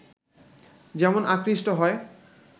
যেমন আকৃষ্ট হয়